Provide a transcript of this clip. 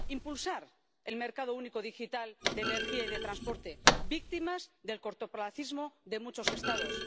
impulsar el mercado único digital de energía y de transporte, víctimas del cortoplacismo de muchos Estados